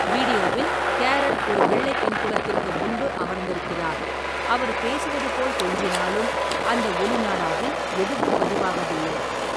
வீடியோவில், கேரல் ஒரு வெள்ளை பின்புலத்திற்கு முன்பு அமர்ந்திருக்கிறார், அவர் பேசுவது போல் தோன்றினாலும் அந்த ஒலி நாடாவில் எதுவும் பதிவாகவில்லை.